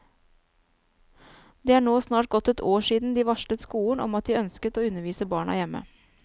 Det er nå snart gått ett år siden de varslet skolen om at de ønsket å undervise barna hjemme.